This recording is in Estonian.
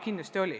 Kindlasti oli.